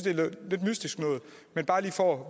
mystisk men bare lige for at